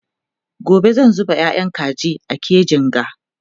gobe zan zuba yayan kaji a kejin ga